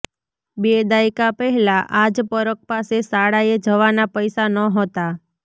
બે દાયકા પહેલા આ જ પરખ પાસે શાળાએ જવાના પૈસા નહોતા